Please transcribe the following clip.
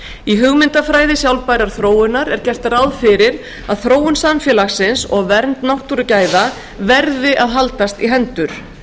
í hugmyndafræði sjálfbærrar þróunar er gert ráð fyrir að þróun samfélagsins og vernd náttúrugæða verði að haldast í hendur